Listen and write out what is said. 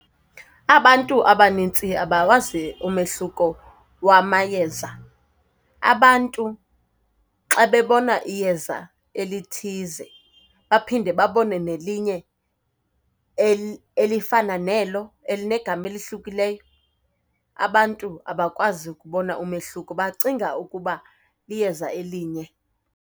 Abantu abaninzi abawazi umehluko wamayeza. Abantu xa bebona iyeza elithize baphinde babone nelinye elifana nelo elinegama elihlukileyo, abantu abakwazi kubona umehluko, bacinga ukuba liyeza elinye.